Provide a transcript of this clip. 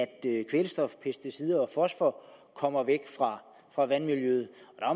kvælstof pesticider og fosfor kommer væk fra vandmiljøet